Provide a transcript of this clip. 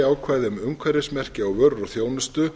e b eða þjónustu